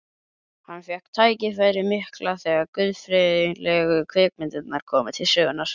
Hann fékk tækifærið mikla þegar guðfræðilegu kvikmyndirnar komu til sögunnar.